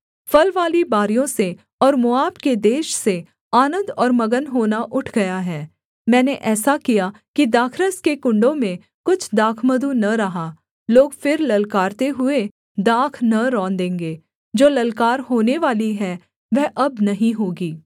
फलवाली बारियों से और मोआब के देश से आनन्द और मगन होना उठ गया है मैंने ऐसा किया कि दाखरस के कुण्डों में कुछ दाखमधु न रहा लोग फिर ललकारते हुए दाख न रौंदेंगे जो ललकार होनेवाली है वह अब नहीं होगी